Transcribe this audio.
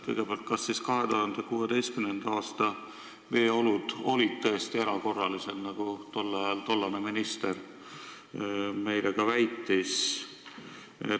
Kõigepealt, kas siis 2016. aasta veeolud olid tõesti erakorralised, nagu tollane minister meile tookord väitis?